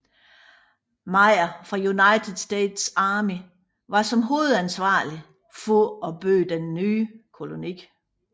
Meyer fra United States Army som var hovedansvarlig for at bygge den nye koloni